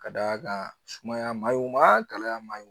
Ka d'a kan sumaya ma ɲi o ma gɛlɛya man ɲi